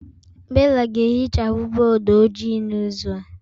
Bella ga-ehichapụ bọọdụ ojii n'izu a